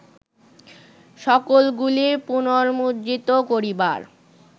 সকলগুলি পুনর্মুদ্রিত করিবার